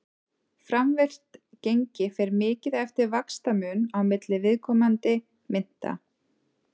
framvirkt gengi fer mikið eftir vaxtamun á milli viðkomandi mynta